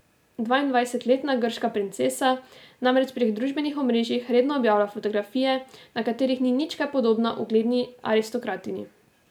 Dvaindvajsetletna grška princesa namreč prek družbenih omrežij redno objavlja fotografije, na katerih ni nič kaj podobna ugledni aristokratinji.